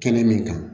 Kɛnɛ min kan